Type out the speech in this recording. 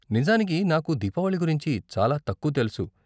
నిజానికి, నాకు దీపావళి గురించి చాలా తక్కువ తెలుసు.